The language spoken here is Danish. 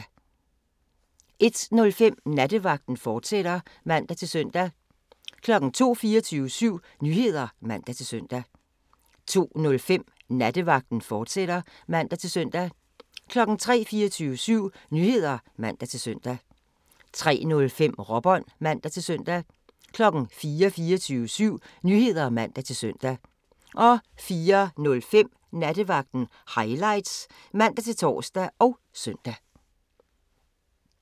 01:05: Nattevagten, fortsat (man-søn) 02:00: 24syv Nyheder (man-søn) 02:05: Nattevagten, fortsat (man-søn) 03:00: 24syv Nyheder (man-søn) 03:05: Råbånd (man-søn) 04:00: 24syv Nyheder (man-søn) 04:05: Nattevagten Highlights (man-tor og søn)